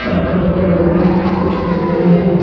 यहां पर एक रोड है। कुछ खंबें हैं।